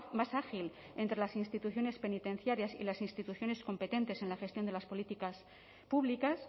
más ágil entre las instituciones penitenciarias y las instituciones competentes en la gestión de las políticas públicas